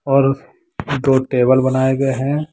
और दो टेबल बनाये गए हैं।